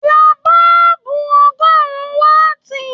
Ra boolubu ọgọrùn waati